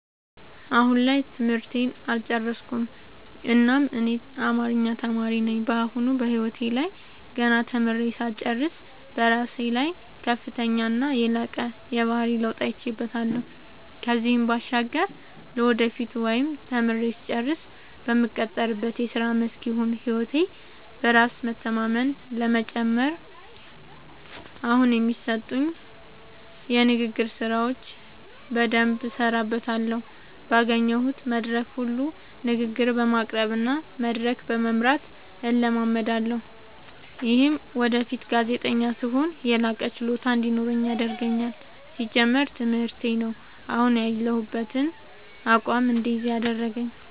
አሁን ላይ ትምህርቴን አልጨረስኩም እናም እኔ አማሪኛ ተማሪ ነኝ በአሁኑ በህይወቴ ላይ ገና ተምሬ ሳልጨርስ በራሴ ላይ ከፍተኛና የላቀ የባህሪ ለውጥ አይቼበታለው ከዚህም ባሻገር ለወደፊቱ ወይም ተምሬ ስጨርስ በምቀጠርበት የስራ መስክ ይሁን ህይወቴ በራስ በመተማመን ለመጨመር አሁኒ የሚሰጡኝን የንግግር ስራዎች በደምብ እሠራበታለሁ ባገኘሁት መድረክ ሁሉ ንግግር በማቅረብ እና መድረክ በመምራት እለማመዳለሁ። ይምህም ወደፊት ጋዜጠኛ ስሆን የላቀ ችሎታ እንዲኖረኝ ያደርገኛል። ሲጀመር ትምህርቴ ነው። አሁን ያሁበትን አቋም እድይዝ ያደረገኝ።